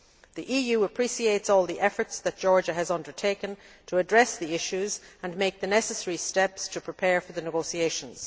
The EU appreciates all the efforts that Georgia has undertaken to address the issues and take the necessary steps to prepare for the negotiations.